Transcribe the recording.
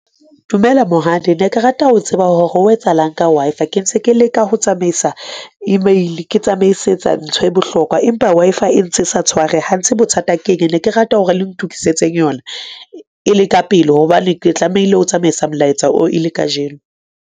Dumela monghadi ne ke rata ho tseba hore ho etsahalang ka Wi-Fi ke ntse ke leka ho tsamaisa email ke tsamaisetsa ntho e bohlokwa, empa Wi-Fi e ntse sa tshware ha nthe bothata keng. Ne ke rata hore le ntokisetse yona e le ka pele hobane ke tlamehile ho tsamaisa molaetsa oo e le kajeno.